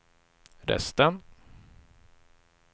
resten